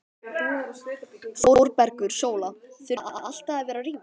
ÞÓRBERGUR: Sóla, þurfum við alltaf að vera að rífast?